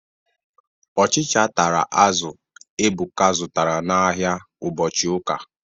Ụchịcha tara azụ Ebuka zụtara n'ahia ụbọchị ụka.